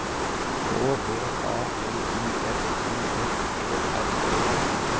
K V A L I F I S E R E